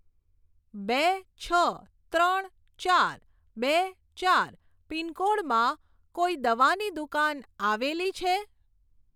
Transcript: બે છ ત્રણ ચાર બે ચાર પિનકોડમાં કોઈ દવાની દુકાન આવેલી છે?